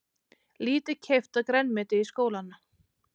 Lítið keypt af grænmeti í skólana